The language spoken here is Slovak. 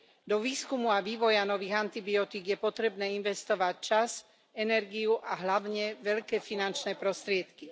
Do výskumu a vývoja nových antibiotík je potrebné investovať čas, energiu a hlavne veľké finančné prostriedky.